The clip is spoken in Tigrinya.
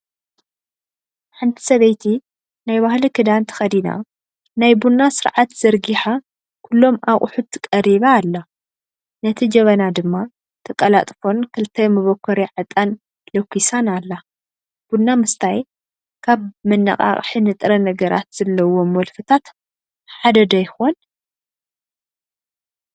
ሓንቲ ሰበይቲ ናይ ባህሊ ክዳን ተኸዲና ናይ ቡና ስርዓት ዘርጊሓ ኩሎም ኣቕሑት ቀሪባ ኣላ፡፡ ነቲ ጀበና ድማ ተቀላጥፎን ክልተ መቦኮርያ ዕጣን ለኩሳን ኣላ፡፡ ቡና ምስታይ ካብ መነቓቐሒ ንጥረ ነገራት ዘለዎም ወልፍታት ሓደ ዶ ይኾን?